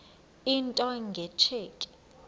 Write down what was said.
into nge tsheki